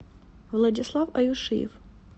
владислав аюшиев